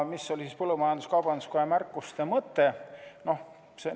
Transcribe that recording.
Mis oli põllumajandus-kaubanduskoja märkuste mõte?